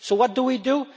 So what do we do?